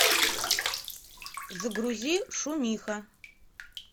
загрузи шумиха